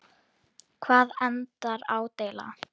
Hvar endar ádeila?